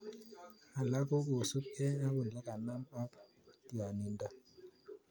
Alak ko kosupkei ak olekanam aka tionindo